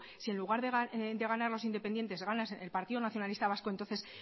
si en lugar de ganar los independientes gana el partido nacionalista vasco entonces